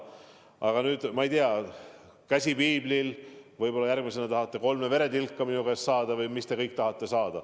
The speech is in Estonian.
Aga vanduda, ma ei tea, käsi piiblil – võib-olla järgmisena tahate minu käest kolme veretilka saada või mida kõike veel.